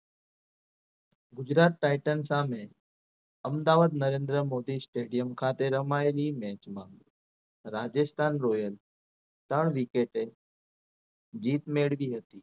Gujarat Titan સામે Ahmedabad Narendra Modi Stadium ખાતે રમાયેલી મેચમાં રાજસ્થાન રોયલ ત્રણ wicket એ જીત મેળવી હતી